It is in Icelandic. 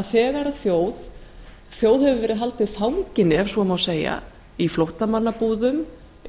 að þjóð hefur verið haldið fanginni ef svo má segja í flóttamannabúðum